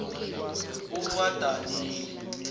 ubadanile